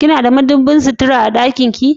Kina da madubin sutura a ɗakin ki?